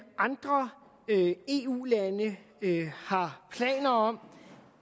andre eu lande har planer om